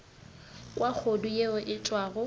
kwa kgodu yeo e tšwago